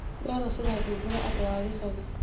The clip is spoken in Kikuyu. therũ cirathubũra andũ a gĩcagi